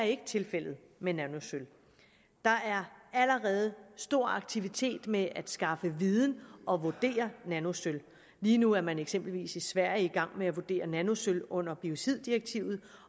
ikke er tilfældet med nanosølv der er allerede stor aktivitet med at skaffe viden og vurdere nanosølv lige nu er man eksempelvis i sverige i gang med at vurdere nanosølv under biociddirektivet